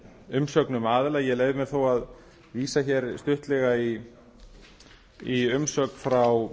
umsögnum aðila ég leyfi mér þó að vísa hér stuttlega í umsögn frá